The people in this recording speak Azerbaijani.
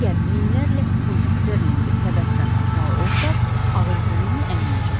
Əgər minlərlə funt sterlinqi səbətdən atmalı olsaq, ağız-burnunu əyməyəcəksən.